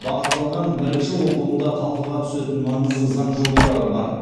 бағытталған бірінші оқылымда талқыға түсетін маңызды заң жобалары бар